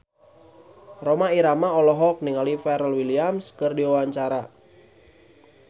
Rhoma Irama olohok ningali Pharrell Williams keur diwawancara